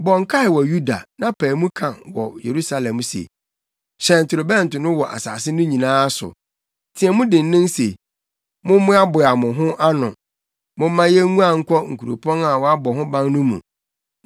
“Bɔ nkae wɔ Yuda na pae mu ka wɔ Yerusalem se ‘Hyɛn torobɛnto no wɔ asase no nyinaa so!’ Teɛ mu dennen se: ‘Mommoaboa mo ho ano! Momma yenguan nkɔ nkuropɔn a wɔabɔ ho ban no mu!’